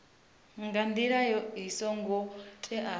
nga ndila i songo teaho